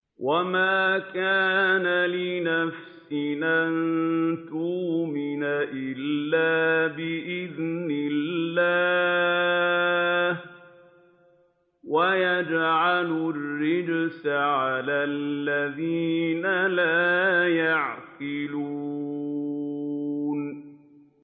وَمَا كَانَ لِنَفْسٍ أَن تُؤْمِنَ إِلَّا بِإِذْنِ اللَّهِ ۚ وَيَجْعَلُ الرِّجْسَ عَلَى الَّذِينَ لَا يَعْقِلُونَ